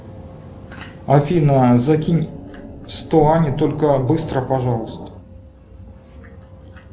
афина закинь сто ане только быстро пожалуйста